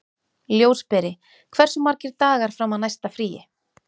Ljósberi, hversu margir dagar fram að næsta fríi?